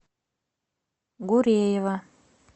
гуреева